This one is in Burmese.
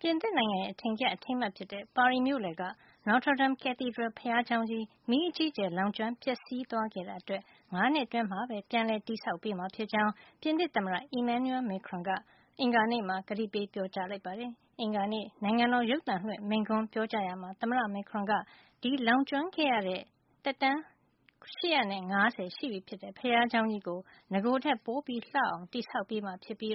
ပြင်သစ်နိုင်ငံရဲ့ အထင်ကရ အထိမ်းအမှတ် ဖြစ်တဲ့ ပါရီမြို့လယ်က Notre Dame Cathedral ဘုရားကျောင်းကြီး မီးအကြီးအကျယ် လောင်ကျွမ်း ပျက်စီးသွားခဲ့တာ အတွက် ၅ နှစ်အတွင်း ပြန်လည်တည်ဆောက်ပေးမှာ ဖြစ်ကြောင်း ပြင်သစ်သမ္မတ Emmanuel Macron က အင်္ဂါနေ့မှာ ကတိပေး ပြောကြားလိုက်ပါတယ်။ အင်္ဂါနေ့ နိုင်ငံတော် ရုပ်သံလွှင့် မိန့်ခွန်းပြောကြားရာမှာ သမ္မတ Macron က ဒီမီးလောင်ကျွမ်းခဲ့ရတဲ့ သက်တမ်း ၈၅၀ ရှိပြီဖြစ်တဲ့ ဘုရားကျောင်းကြီးကို နဂိုထက်ပိုလှအောင် တည်ဆောက်ပေးမှာ ဖြစ်ပြီး